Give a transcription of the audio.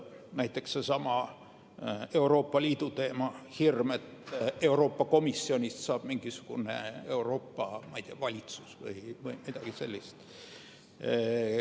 Näiteks, seesama Euroopa Liidu teema – hirm, et Euroopa Komisjonist saab mingisugune Euroopa valitsus või midagi sellist.